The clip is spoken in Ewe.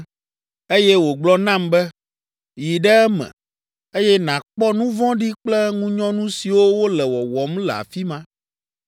Eye wògblɔ nam be, “Yi ɖe eme, eye nàkpɔ nu vɔ̃ɖi kple ŋunyɔnu siwo wole wɔwɔm le afi ma”